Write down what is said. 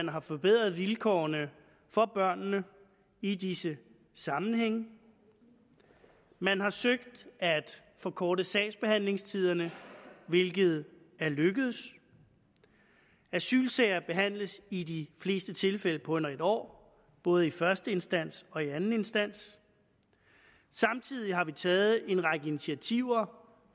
har forbedret vilkårene for børnene i disse sammenhænge man har søgt at forkorte sagsbehandlingstiderne hvilket er lykkedes asylsager behandles i de fleste tilfælde på under et år både i første instans og i anden instans samtidig har vi taget en række initiativer